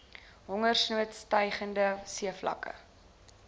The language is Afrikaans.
hongersnood stygende seevlakke